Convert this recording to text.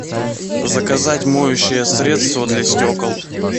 заказать моющее средство для стекол